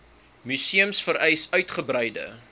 museums vereis uitgebreide